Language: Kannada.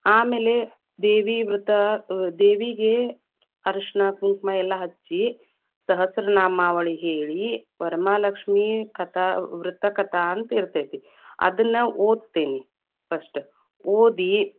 ಆಮೇಲೆ, ದೇವಿ ವೃತ ಅ ದೇವಿಗೆ ಅರಷಣ, ಕುಂಕುಮ ಎಲ್ಲಾ ಹಚ್ಚಿ, ಸಹಸ್ರ ನಾಮಾವಳಿ ಹೇಳಿ ವರಮಹಾಲಕ್ಷ್ಮೀ ಕಥಾ, ವೃತ ಕಥಾ ಅಂತ ಇತೇ೯ತಿ ಅದನ್ನ ಓದತೇನಿ, first ಓದಿ.